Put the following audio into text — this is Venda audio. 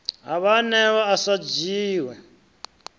ha vhaanewa a sa dzhie